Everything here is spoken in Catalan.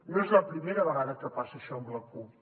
no és la primera vegada que passa això amb la cup